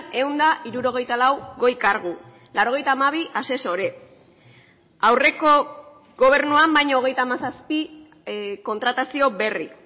ehun eta hirurogeita lau goi kargu laurogeita hamabi asesore aurreko gobernuan baino hogeita hamazazpi kontratazio berri